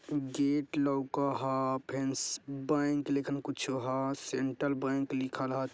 गेट लोक हई बैंक लिखल हई कुछ हा सेन्ट्रल बैंक लिखल हा।